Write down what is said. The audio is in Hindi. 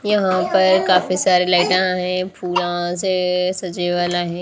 यहां पर काफी सारे लाइटा है पूरा से सजा वेला हैं।